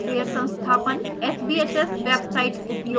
sbhs website उपयोग करना